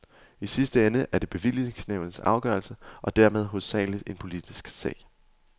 I sidste ende er det bevillingsnævnets afgørelse, og dermed hovedsaglig en politisk sag.